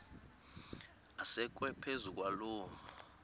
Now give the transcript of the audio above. asekwe phezu kwaloo